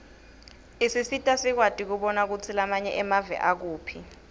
isisita sikwati kubona kutsi lamanye emave akuphi